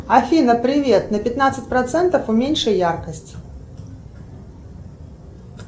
афина привет на пятнадцать процентов уменьши яркость